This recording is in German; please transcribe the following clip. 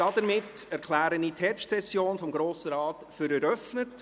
Somit erkläre ich die Herbstsession des Grossen Rates für eröffnet.